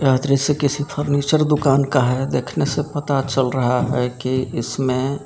यह दृश्य किसी फर्नीचर दुकान का है देखने से पता चल रहा है कि इसमें--